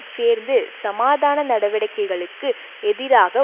சேர்ந்து சமாதான நடவடிக்கைகளுக்கு எதிராக